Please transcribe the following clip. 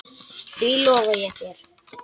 Því lofa ég þér.